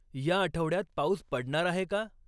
या आठवड्यात पाऊस पडणार आहे का?